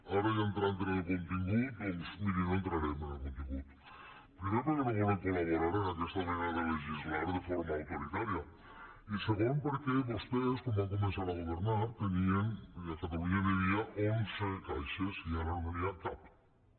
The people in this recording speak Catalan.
ara ja entrant en el contingut doncs miri no entrarem en el contingut primer perquè no volem col·de legislar de forma autoritària i segon perquè vostès quan van començar a governar a catalunya hi havia onze caixes i ara no n’hi ha cap cap